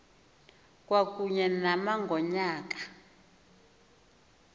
kwakunye nama ngonyaka